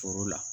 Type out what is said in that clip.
Foro la